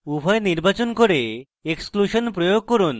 উভয় নির্বাচন করুন এবং exclusion প্রয়োগ করুন